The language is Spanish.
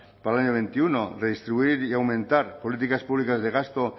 para el año veintiuno redistribuir y aumentar políticas públicas de gasto